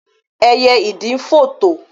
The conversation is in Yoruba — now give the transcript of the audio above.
éyé idì fò to.